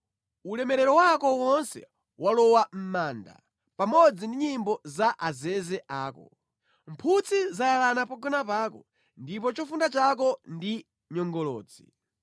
Ulemerero wako wonse walowa mʼmanda, pamodzi ndi nyimbo za azeze ako; mphutsi zayalana pogona pako ndipo chofunda chako ndi nyongolotsi.